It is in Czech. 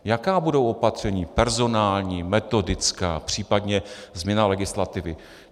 Jaká budou opatření personální, metodická, případně změna legislativy?